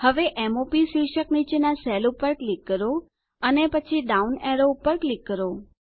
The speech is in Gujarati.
હવે m o પ શીર્ષક નીચેના સેલ પર ક્લિક કરો અને પછી ડાઉન એરો પર ક્લિક કરો